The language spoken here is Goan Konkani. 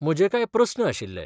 म्हजे कांय प्रस्न आशिल्ले.